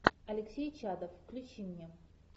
алексей чадов включи мне